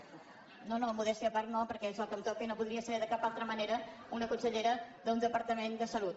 no modèstia a part no perquè és el que em toca i no podria ser de cap altra manera en una consellera d’un departament de salut